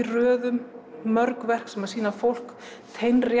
röðum mörg verk sem sýna fólk